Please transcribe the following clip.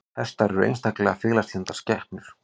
Hestar eru einstaklega félagslyndar skepnur.